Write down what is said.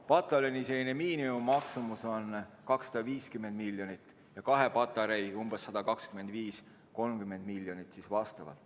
Pataljoni miinimummaksumus on 250 miljonit ja kahe patarei maksumus 125–130 miljonit.